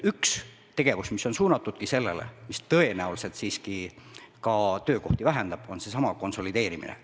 Üks tegevus, mis on suunatudki sellele, mis tõenäoliselt siiski ka töökohti vähendab, on seesama konsolideerimine.